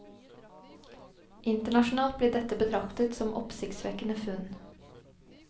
Internasjonalt blir dette betraktet som oppsiktsvekkende funn.